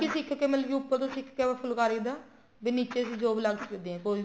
ਸਿੱਖਕੇ ਮਤਲਬ ਕੀ ਉੱਪਰ ਤੋਂ ਸਿੱਖਕੇ ਆਵਾ ਫੁਲਕਾਰੀ ਦਾ ਵੀ ਨੀਚੇ ਅਸੀਂ job ਲੱਗ ਸਕਦੇ ਹਾਂ ਕੋਈ ਵੀ